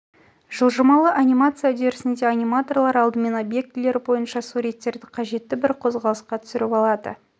жылжымалы анимация үдерісінде аниматорлар алдымен объектілері бойынша суреттерді қажетті бір қозғалысқа түсіріп алады